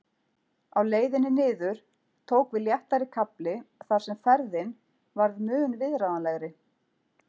Á leiðinni niður tók við léttari kafli þar sem ferðin varð mun viðráðanlegri.